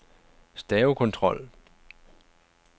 stavekontrol